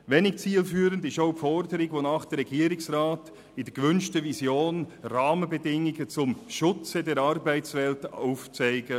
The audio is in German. Wenig zielführend ist auch die Forderung in der gewünschten Vision, der Regierungsrat solle Rahmenbedingungen zum Schutz der Arbeitswelt aufzeigen.